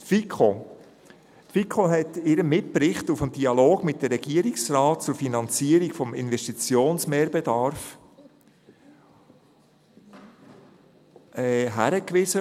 Die FiKo hat in ihrem Mitbericht auf den Dialog mit dem Regierungsrat zur Finanzierung des Investitionsmehrbedarfs hingewiesen.